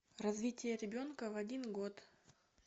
развитие ребенка в один год